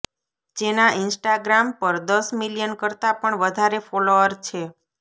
જેનાં ઈંસ્ટાગ્રામ પર દસ મિલિયન કરતાં પણ વધારે ફોલોઅર છે